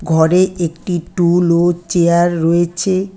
ঘরে একটি টুল ও চেয়ার রয়েছে।